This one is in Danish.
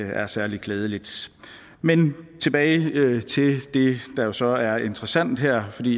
er særlig klædeligt men tilbage til det der jo så er interessant her fordi